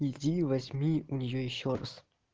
иди возьми у нее ещё раз